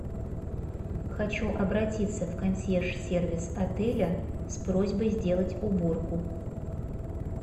хочу обратиться в консьерж сервис отеля с просьбой сделать уборку